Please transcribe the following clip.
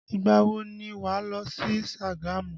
Ìgbà wo ni wà lọ sí Sagamu?